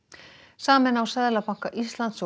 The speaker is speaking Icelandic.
sameina á Seðlabanka Íslands